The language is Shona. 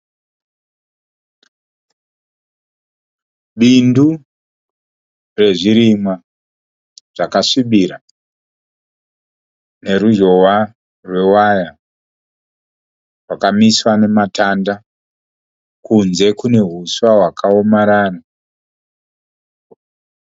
Bindu rezvirimwa zvakasvibira neruzhowa rwe waya rwakamiswa nema tanda. Kunze kune huswa hwakaomarara.